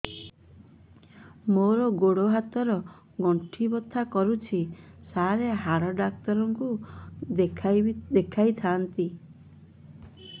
ମୋର ଗୋଡ ହାତ ର ଗଣ୍ଠି ବଥା କରୁଛି ସାର ହାଡ଼ ଡାକ୍ତର ଙ୍କୁ ଦେଖାଇ ଥାନ୍ତି